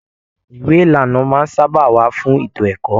Ìwé ìlànà máa n sábà wà fún ètò ẹ̀kọ́.